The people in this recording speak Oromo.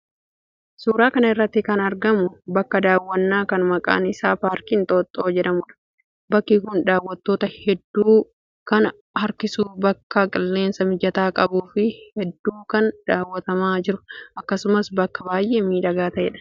Suura kana irratti kan argamu bakka daawwannaa kan maqaan isaa 'Paarkii Inxooxxoo' jedhamudha. Bakki kun daawwattoota hedduu kan harkisuu, bakka qilleensa mijataa qabuu fi hedduu kan daawwatamaa jiru akkasumas bakka baay'ee miidhagaa ta'edha.